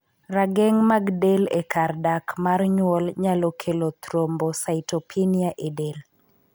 Rageng' mag del e kar dak mar nyuol nyalo kelo thrombocytopenia e del.